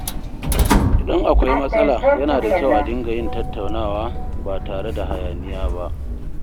Idan akwai matsala, yana da kyau a dinga yin tattaunawa ba tare da hayaniya ba.